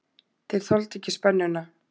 Þeir þoldu ekki spennuna.